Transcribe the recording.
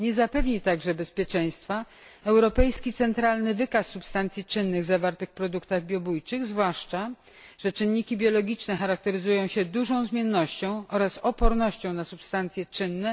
Nie zapewni także bezpieczeństwa europejski centralny wykaz substancji czynnych zawartych w produktach biobójczych, zwłaszcza że czynniki biologiczne charakteryzują się dużą zmiennością oraz odpornością na substancje czynne.